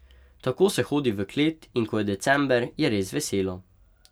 Tako se hodi v klet in ko je december, je res veselo.